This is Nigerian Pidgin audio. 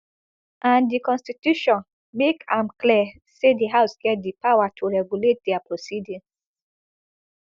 and di constitution make am clear say di house get di power to regulate dia proceedings